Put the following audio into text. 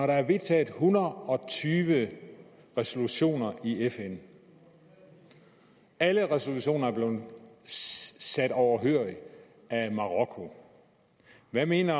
der er vedtaget en hundrede og tyve resolutioner i fn og alle resolutioner er blevet siddet overhørig af marokko hvad mener